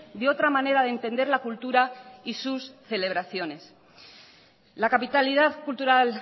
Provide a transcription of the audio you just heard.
de otra manera de entender la cultura y sus celebraciones la capitalidad cultural